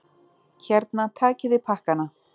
Hérna, takiði pakkana!